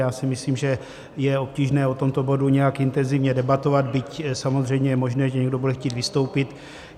Já si myslím, že je obtížné o tomto bodu nějak intenzivně debatovat, byť samozřejmě je možné, že někdo bude chtít vystoupit.